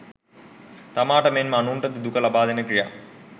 තමාට මෙන්ම අනුන්ට ද දුක ලබාදෙන ක්‍රියා